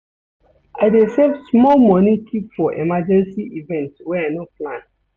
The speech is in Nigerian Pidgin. I dey save small moni keep for emergency events wey I no plan.